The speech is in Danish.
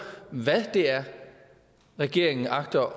hvad det er regeringen agter